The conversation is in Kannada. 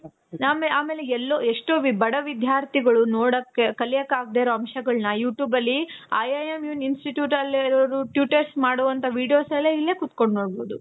ಆಮೇಲೆ ಎಲ್ಲೋ ಎಷ್ಟೋ ಬಡ ವಿಧ್ಯಾರ್ಥಿಗಳು ನೋಡೋಕೆ ಕಲಿಯೋಕೆ ಆಗ್ದೆ ಇರೋ ಅಂಶಗಳ್ನ you tube ಅಲ್ಲಿ IIM institute ಅಲ್ಲಿ ಇರೋರು test ಮಾಡುವಂತ videos ಎಲ್ಲಾ ಇಲ್ಲೇ ಕುತ್ಕೊಂಡು ನೋಡ್ಬಹುದು.